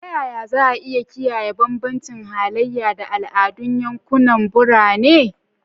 Ta yaya za a iya kiyaye bambancin halaye da al'adun yankunan birane?